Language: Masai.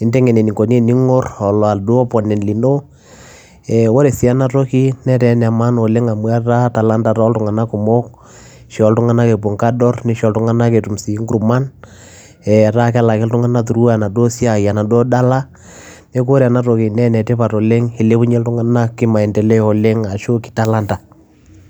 enikoni teningorr oladuo opponent lino oree ena toki netaa ene maana oleng amuu etaa talanta tooltunganak kumok ishoo ilntunganak epuo enkadorr nitum ngurrman neekuu ene tipat oleng ilepunyie ilntunganak talanta